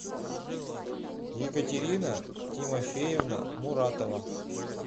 екатерина тимофеевна муратова